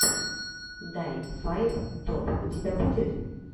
дай файв топ у тебя будет